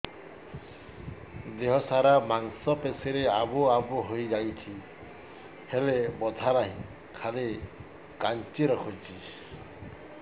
ଦେହ ସାରା ମାଂସ ପେଷି ରେ ଆବୁ ଆବୁ ହୋଇଯାଇଛି ହେଲେ ବଥା ନାହିଁ ଖାଲି କାଞ୍ଚି ରଖୁଛି